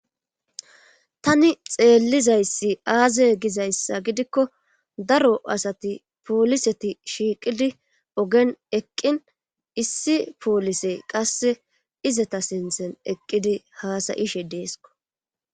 tani xeellizayssi aaze gizayssa gidikko daro asati pooliseti shiiqidi ogen eqqin issi poolise qasse izata sinthen eqqidi haasayishe deesko